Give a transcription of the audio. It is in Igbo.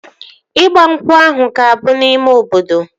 Ịgba nkwụ ahụ ga-abụ n'ime obodo